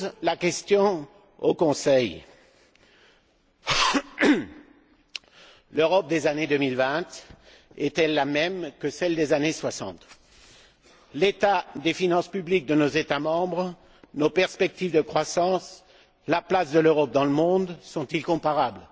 Ma question au Conseil est la suivante l'Europe des années 2020 est elle la même que celle des années 60? L'état des finances publiques de nos États membres, nos perspectives de croissance, la place de l'Europe dans le monde sont ils comparables?